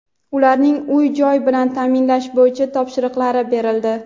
ularni uy-joy bilan ta’minlash bo‘yicha topshiriqlar berildi.